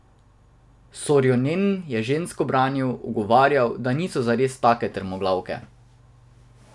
Sorjonen je ženske branil, ugovarjal, da niso zares take trmoglavke.